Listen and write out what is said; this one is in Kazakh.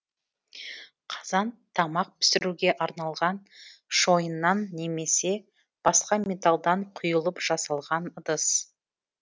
қазан тамақ пісіруге арналған шойыннан немесе басқа металдан құйылып жасалған ыдыс